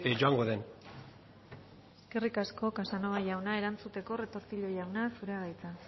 joango den eskerrik asko casanova jauna erantzuteko retortillo jauna zurea da hitza